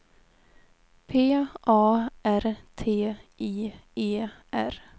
P A R T I E R